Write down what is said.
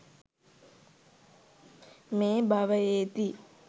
මේ භවයේදී